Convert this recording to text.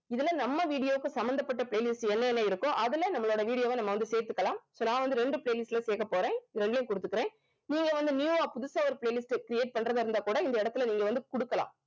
இதுல நம்ம video க்கு சம்பந்தப்பட்ட playlist என்ன என்ன இருக்கோ அதுல நம்மளோட video வ நம்ம வந்து சேர்த்துக்கலாம் இப்ப நான் வந்து ரெண்டு playlist ல சேர்க்கப் போறேன் இது ரெண்டுலயும் குடுத்துகிறேன் நீங்க வந்து new ஆ புதுசா ஒரு playlist create பண்றதா இருந்தா கூட இந்த இடத்துல நீங்க வந்து குடுக்கலாம்